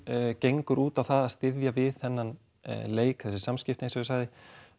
gengur út á það að styðja við þennan leik þessi samskipti eins og ég sagði